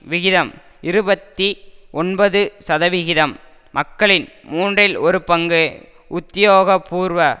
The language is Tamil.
விகிதம் இருபத்தி ஒன்பது சதவிகிதம் மக்களில் மூன்றில் ஒரு பங்கு உத்தியோகபூர்வ